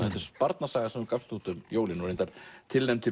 barnasaga sem þú gafst út um jólin og reyndar tilnefnd til